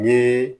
Ni